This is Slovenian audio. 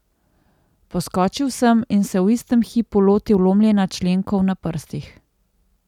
Poskočil sem in se v istem hipu lotil lomljenja členkov na prstih.